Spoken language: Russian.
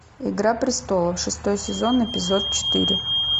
игра престолов шестой сезон эпизод четыре